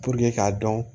k'a dɔn